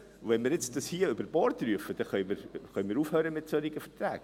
Wenn wir das jetzt über Bord werfen, können wir aufhören mit solchen Verträgen.